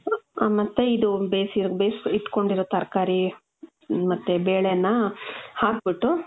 ಮತ್ತೆ ಇದು ಬೇಸಿರ್, ಬೇಸ್ ಇಟ್ಕೊಂಡಿರೋ ತರ್ಕಾರಿ, ಮತ್ತೆ ಬೇಳೆನ್ನ ಹಾಕ್ಬಿಟ್ಟು ,